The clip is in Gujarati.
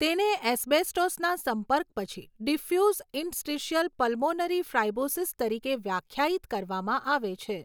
તેને એસ્બેસ્ટોસના સંપર્ક પછી ડિફ્યુઝ ઇન્ટર્સ્ટિશલ પલ્મોનરી ફાઇબ્રોસિસ તરીકે વ્યાખ્યાયિત કરવામાં આવે છે.